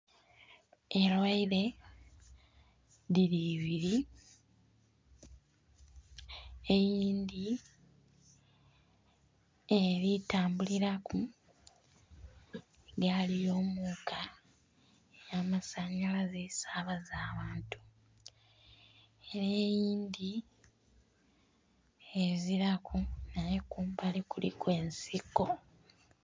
Erweere dhiri ibiri eyindhi eri tambuliraku gaali yomuka eya masanyalaze esabaza abantu ere eyindhi eziraku era kumbali kuliku ensiko.